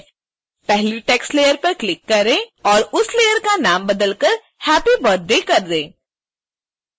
पहली text layer पर click करें और उसlayer का नाम बदलकर happy birthday कर दें